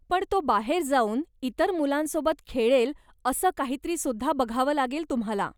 पण तो बाहेर जाऊन इतर मुलांसोबत खेळेल असं काहीतरी सुद्धा बघावं लागेल तुम्हाला.